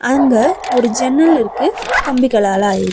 அங்க ஒரு ஜன்னல் இருக்கு கம்பிகளால ஆயி --